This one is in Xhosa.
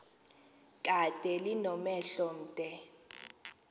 kade linomhelo omde